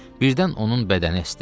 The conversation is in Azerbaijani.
Birdən onun bədəni əsdi.